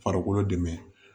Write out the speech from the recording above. Farikolo dɛmɛ